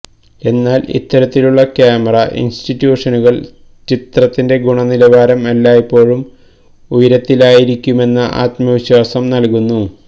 എന്നാൽ ഇത്തരത്തിലുള്ള ക്യാമറ ഇൻസ്റ്റിറ്റ്യൂഷനുകൾ ചിത്രത്തിന്റെ ഗുണനിലവാരം എല്ലായ്പ്പോഴും ഉയരത്തിലായിരിക്കുമെന്ന ആത്മവിശ്വാസം നൽകുന്നു